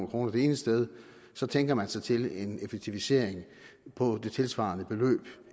kroner det ene sted tænker man sig til en effektivisering på det tilsvarende beløb